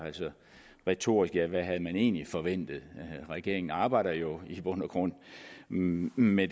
retorisk hvad havde man egentlig forventet regeringen arbejder jo i bund og grund med